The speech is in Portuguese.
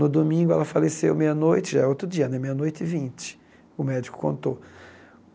No domingo ela faleceu meia-noite, já é outro dia né, meia-noite e vinte, o médico contou.